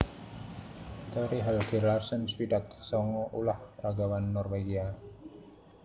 Tore Helge Larsen swidak sanga ulah ragawan Norwégia